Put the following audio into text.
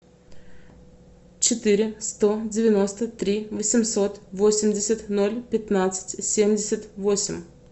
четыре сто девяносто три восемьсот восемьдесят ноль пятнадцать семьдесят восемь